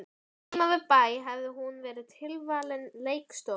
Heima við bæ hefði hún verið tilvalin leikstofa.